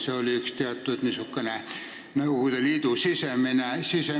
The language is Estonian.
See oli niisugune Nõukogude Liidu sisemine mäss.